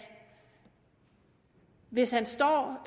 hvis han står